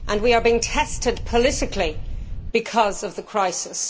We are being tested politically because of the crisis.